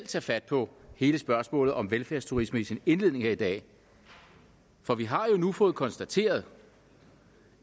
tage fat på hele spørgsmålet om velfærdsturisme i sin indledning her i dag for vi har jo nu fået konstateret